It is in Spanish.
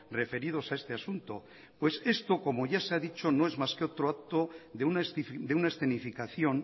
referidos a este asunto pues esto como ya se ha dicho no es más que otro acto de una escenificación